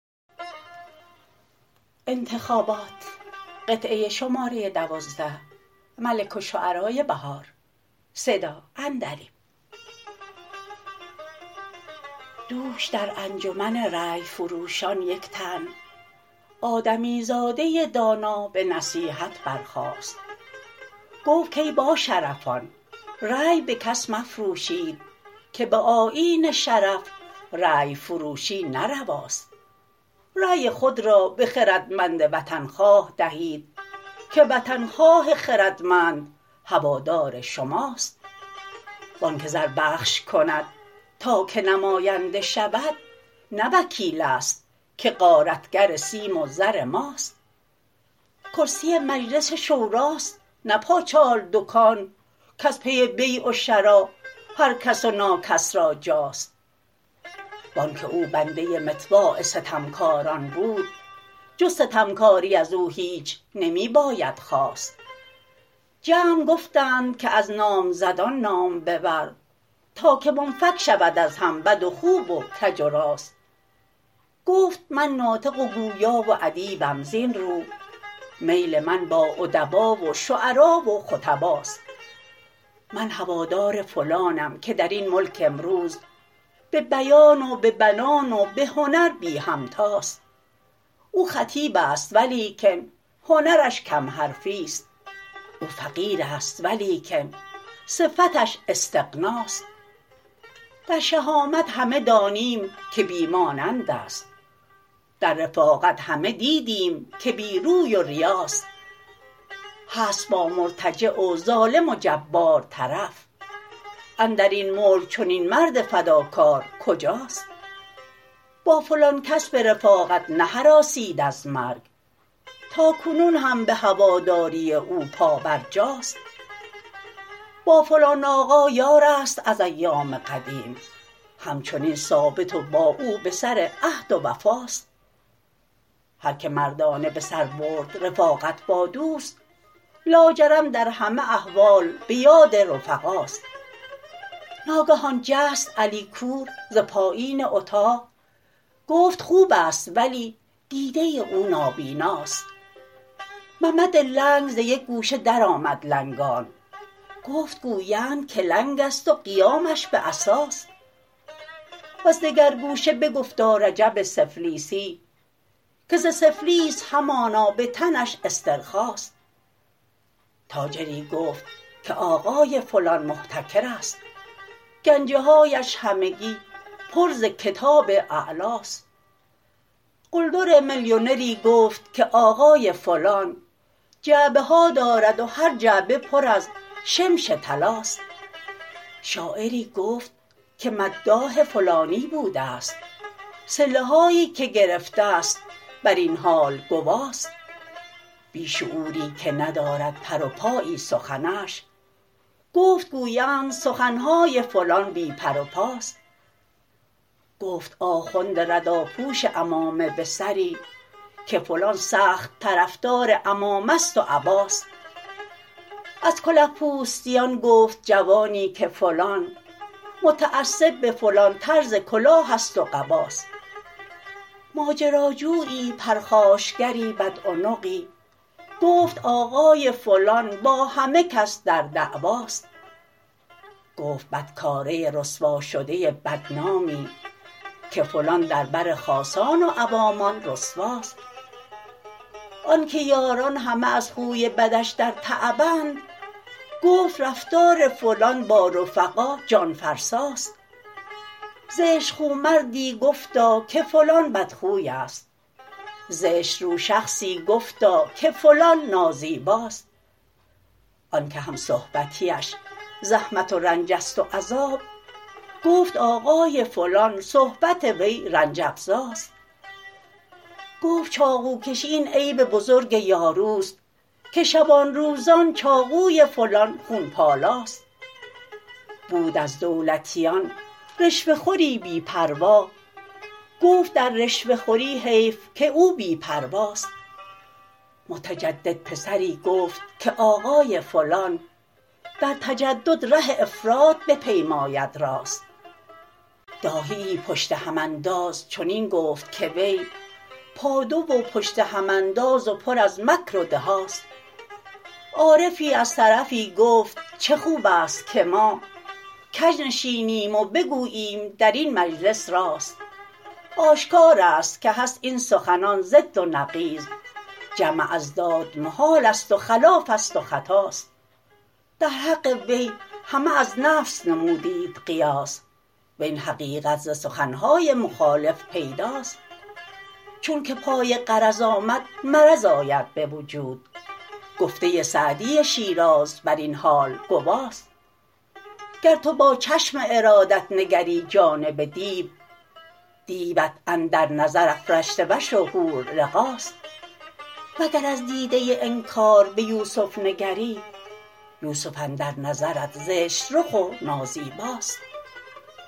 دوش در انجمن رأی فروشان یک تن آدمیزاده دانا به نصیحت برخاست گفت کای باشرفان رأی به کس مفروشید که به آیین شرف رأی فروشی نه رواست رأی خود را به خردمند وطنخواه دهید که وطنخواه خردمند هوادار شماست وان که زر بخش کند تا که نماینده شود نه وکیل است که غارتگر سیم و زر ماست کرسی مجلس شوراست نه پاچال دکان کز پی بیع و شری هرکس و ناکس را جاست وان که او بنده مطواع ستمکاران بود جز ستمکاری ازو هیچ نمی باید خواست جمع گفتند که از نامزدان نام ببر تا که منفک شود از هم بد و خوب و کج و راست گفت من ناطق و گویا و ادیبم زین رو میل من با ادبا و شعرا و خطباست من هوادار فلانم که درین ملک امروز به بیان و به بنان و به هنر بی همتاست او خطیب است ولیکن هنرش کم حرفی است او فقیر است ولیکن صفتش استغناست در شهامت همه دانیم که بی مانند است در رفاقت همه دیدیم که بی روی و ریاست هست با مرتجع و ظالم و جبار طرف اندرین ملک چنین مرد فداکار کجاست با فلان کس به رفاقت نهراسید از مرگ تاکنون هم به هواداری او پابرجاست با فلان آقا یار است از ایام قدیم همچنین ثابت و با او به سر عهد و وفاست هرکه مردانه به سر برد رفاقت با دوست لاجرم در همه احوال به یاد رفقاست ناگهان جست علی کور ز پایین اطاق گفت خوبست ولی دیده او نابیناست ممد لنگ ز یک گوشه درآمد لنگان گفت گویند که لنگ است و قیامش به عصاست وز دگر گوشه بگفتا رجب سفلیسی که ز سفلیس همانا به تنش استرخاست تاجری گفت که آقای فلان محتکر است گنجه هایش همگی پر ز کتاب اعلاست قلدر ملیونری گفت که آقای فلان جعبه ها دارد و هر جعبه پر از شمش طلاست شاعری گفت که مداح فلانی بوده است صله هایی که گرفته ست بر این حال گواست بی شعوری که ندارد پر و پایی سخنش گفت گویند سخن های فلان بی پر و پاست گفت آخوند رداپوش عمامه به سری که فلان سخت طرفدار عمامه ست و عباست از کله پوستیان گفت جوانی که فلان متعصب به فلان طرز کلاه است و قباست ماجراجویی پرخاشگری بدعنقی گفت آقای فلان با همه کس در دعواست گفت بدکاره رسواشده بدنامی که فلان در بر خاصان و عوامان رسواست آن که یاران همه از خوی بدش در تعبند گفت رفتار فلان با رفقا جانفرساست زشت خو مردی گفتا که فلان بدخویست زشت رو شخصی گفتا که فلان نازیباست آن که هم صحبتی اش زحمت و رنجست و عذاب گفت آقای فلان صحبت وی رنج افزاست گفت چاقوکشی این عیب بزرگ یارو است که شبان روزان چاقوی فلان خون پالاست بود از دولتیان رشوه خوری بی پروا گفت در رشوه خوری حیف که او بی پرواست متجدد پسری گفت که آقای فلان در تجدد ره افراط بپیماید راست داهی ای پشت هم انداز چنین گفت که وی پادو و پشت هم انداز و پر از مکر و دهاست عارفی از طرفی گفت چه خوبست که ما کج نشینیم و بگوییم درین مجلس راست آشکار است که هست این سخنان ضد و نقیض جمع اضداد محالست و خلافست و خطاست در حق وی همه از نفس نمودید قیاس وین حقیقت ز سخن های مخالف پیداست چون که پای غرض آمد مرض آید به وجود گفته سعدی شیراز بر این حال گواست گر تو با چشم ارادت نگری جانب دیو دیوت اندر نظر افرشته وش و حور لقاست وگر از دیده انکار به یوسف نگری یوسف اندر نظرت زشت رخ و نازیباست